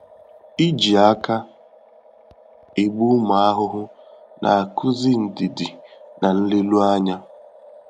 Iji aka egbu ụmụ ahụhụ na-akụzi ndidi na nleru ányá.